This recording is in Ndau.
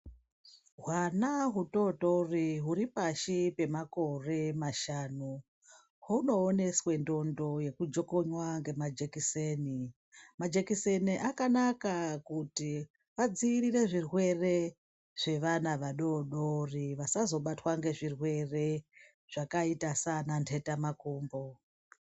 Hwana hutotori huri pashi pemakore mashanu hunooneswe ndondo yekujokonywa ngemajekiseni, majekiseni akanaka kuti adziirire zvirwere zvevana vadodori vasazobatwa ngezvirwere zvakaita saana mbetamakumbo.